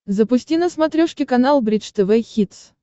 запусти на смотрешке канал бридж тв хитс